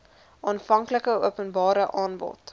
aanvanklike openbare aanbod